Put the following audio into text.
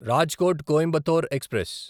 Rajkot Coimbatore express